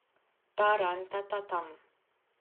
Ta ran ta ta tam!